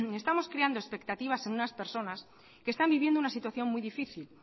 estamos creando expectativas en unas personas que están vivienda una situación muy difícil